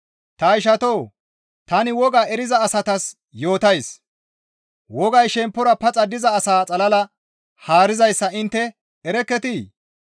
Ta ishatoo! Tani woga eriza asatas yootays; wogay shemppora paxa diza asaa xalala haarizayssa intte erekketii?